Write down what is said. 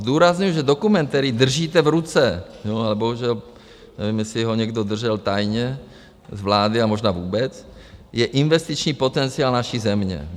Zdůrazňuji, že dokument, který držíte v ruce, a bohužel nevím, jestli ho někdo držel tajně z vlády a možná vůbec, je investiční potenciál naší země.